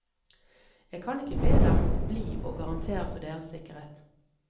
Jeg kan ikke be dem bli og garantere for deres sikkerhet.